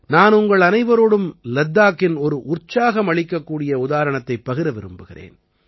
நான் உங்கள் அனைவரோடும் லத்தாக்கின் ஒரு உத்வேகமளிக்கக்கூடிய உதாரணத்தைப் பகிர விரும்புகிறேன்